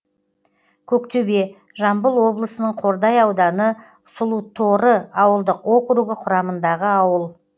көктөбе жамбыл облысының қордай ауданы сұлуторы ауылдық округі құрамындағы ауыл